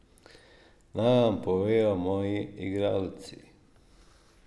Naj vam povejo moji igralci.